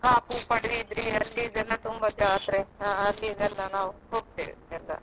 Kaup Padubidri ಅಲ್ಲಿದೆಲ್ಲ ತುಂಬಾ ಜಾತ್ರೆ ಅಲಿದೆಲ್ಲ ನಾವು ಹೋಗ್ತೇವೆ.